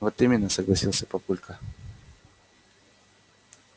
вот именно согласился папулька